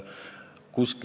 Austatud ettekandja!